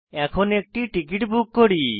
এখন একটি ticket book করি